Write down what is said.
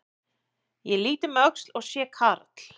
Ég lít um öxl og sé karl